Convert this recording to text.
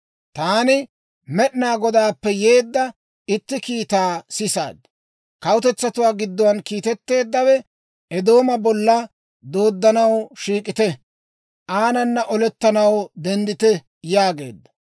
Taani Med'inaa Godaappe yeedda itti kiitaa sisaad. Kawutetsatuwaa giddo kiitetteeddawe, «Eedooma bolla dooddanaw shiik'ite! Aanana olettanaw denddite!» yaageedda.